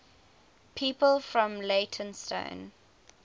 people from leytonstone